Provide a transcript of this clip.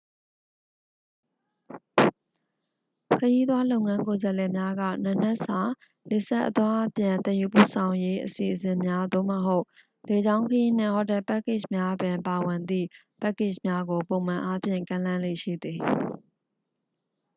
ခရီးသွားလုပ်ငန်းကိုယ်စားလှယ်များက နံနက်စာ လေဆပ် အသွားအပြန် သယ်ယူပို့ဆောင်ရေး အစီအစဉ်များ သို့မဟုတ် လေကြောင်းခရီးနှင့် ဟိုတယ်ပက်ကေ့ချ်များပင် ပါဝင်သည့် ပက်ကေ့ချ်များကို ပုံမှန်အားဖြင့် ကမ်းလှမ်းလေ့ရှိသည်